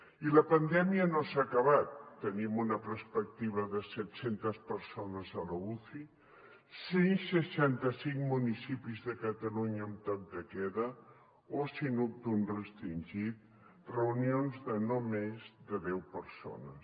i la pandèmia no s’ha acabat tenim una perspectiva de setcentes persones a l’uci cent i seixanta cinc municipis de catalunya amb toc de queda oci nocturn restringit reunions de no més de deu persones